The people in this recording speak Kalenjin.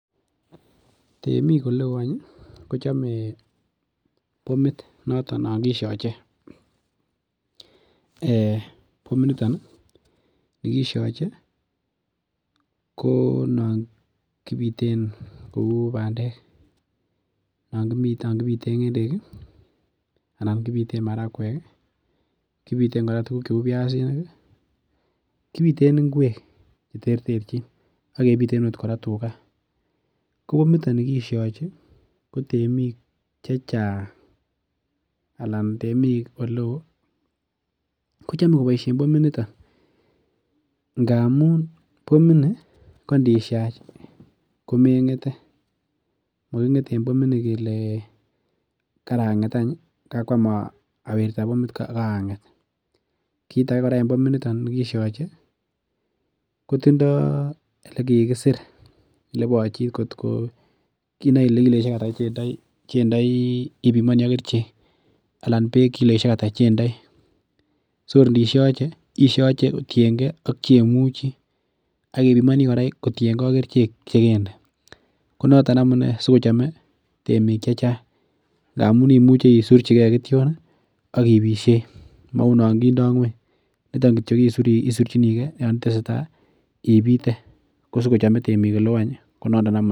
Temik oleo en en kochame bomit nongisiache. Bomit nito kebiren kouu bandek anan kibiten ng' endek ih anan kibiten kora biasinik ih kibiten tuguk cheuu inguek ih cheterterchin akebiten Okot tugaa . Bomit nito nekisiachi ih ko tenim chechang Alan temik oleoo ih kochame kobaishien bomit nito ngamun bomit ni kondisiach komeng'ete maging'ete en bomini kele kakuam awirta karang'et. Kit age kora en bomit nekisiache kotindoo olekikisir olebachit otko kiloisiek ata chendoo ih ibimanii ak kerichek anan bek litaishek ata chendoo, tor isiache isiache kotienge ak cheimuche, akibimani kora kotienge kerichek chekemdee. Konoton amunee sikochame temik chechang ngamuun imuche isurchike kition ih akibitsen mauu noon kindoo ng'uany niton kityo isurchinikee Yoon itesetai ibite.